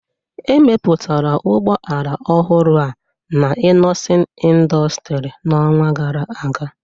Emepụtara ụgbọ ala ọhụrụ a na Innoson Industry n'ọnwa gara aga